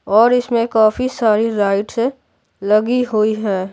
और इसमें काफी सारी लाइट्स लगी हुई है।